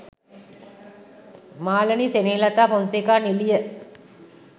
Malani Senehelatha Fonseka නිළිය